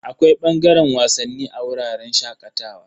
Akwai bangaren wasanni a wuraren shakatawa.